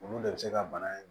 Olu de bɛ se ka bana in